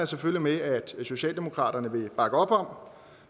selvfølgelig med at socialdemokratiet vil bakke op om